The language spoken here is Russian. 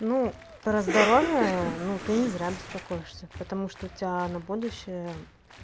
ну про здоровье ну ты не зря беспокоишься потому что у тебя на будущее